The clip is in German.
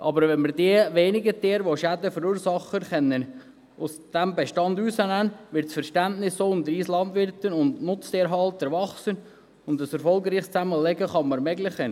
Aber wenn wir die wenigen Tiere, die Schäden verursachen, aus diesem Bestand herausnehmen können, wird das Verständnis unter uns Landwirten und Nutztierhaltern wachsen, und man kann ein erfolgreiches Zusammenleben ermöglichen.